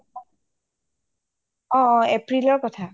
অ অ april ৰ কথা